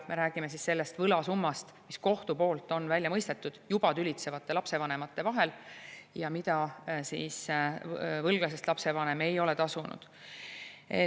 Me räägime sellest võlasummast, mis kohtu poolt on välja mõistetud juba tülitsevatelt lapsevanematelt ja mida võlglasest lapsevanem ei ole tasunud.